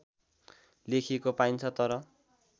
लेखिएको पाइन्छ तर